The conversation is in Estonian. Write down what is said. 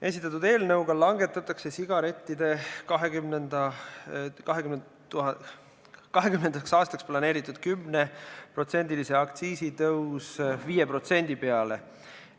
Esitatud eelnõuga langetatakse sigarettide 2020. aastaks planeeritud 10%-line aktsiisitõus 5% peale.